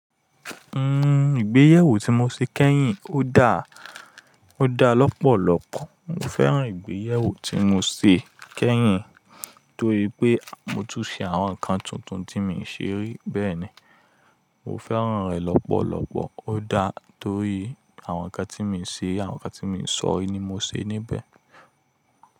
Nn, ìgbéyẹwó tí mo ṣe kẹ́yìn o dá, o dá lọ́pọ̀lọ́pọ̀. Mo fẹ́ràn ìgbéyẹwó tí mo se kẹ́yìn torí pé mo tún ṣe àwọn nǹkan tuntun tí mi ṣe rí bẹ́ẹ̀ ni. Mo fẹ́ràn rẹ̀ lọ́pọ̀lọ́pọ̀ ó dá torí àwọn nǹkan tí mi se, àwọn nǹkan tí mi sọ rí ni mo se níbẹ̀.